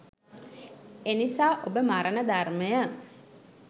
එනිසා ඔබ මරණ ධර්මය